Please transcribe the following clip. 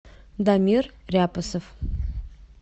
дамир ряпосов